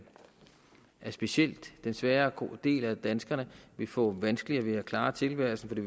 at specielt den svagere del af danskerne vil få vanskeligere ved at klare tilværelsen for det